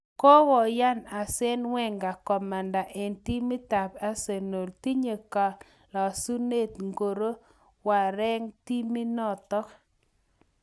Kokoyan Arsene Wenger komanda eng timitap Arsenal. Tinye kalasunet ngoro wengereng' timitnotok